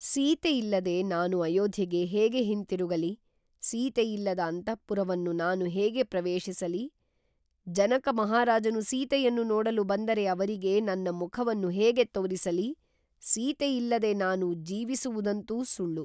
ಸೀತೆಯಿಲ್ಲದೆ ನಾನು ಅಯೋಧ್ಯೆಗೆ ಹೇಗೆ ಹಿಂತಿರುಗಲಿ, ಸೀತೆಯಿಲ್ಲದ ಅಂತಃಪುರವನ್ನು ನಾನು ಹೇಗೆ ಪ್ರವೇಶಿಸಲಿ, ಜನಕಮಹಾರಾಜನು ಸೀತೆಯನ್ನು ನೋಡಲು ಬಂದರೆ ಅವರಿಗೆ ನನ್ನ ಮುಖವನ್ನು ಹೇಗೆ ತೋರಿಸಲಿ, ಸೀತೆಯಿಲ್ಲದೆ ನಾನು ಜೀವಿಸುವುದಂತೂ ಸುಳ್ಳು